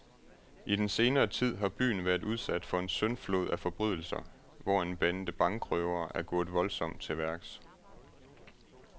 I den senere tid har byen været udsat for en syndflod af forbrydelser, hvor en bande bankrøvere er gået voldsomt til værks.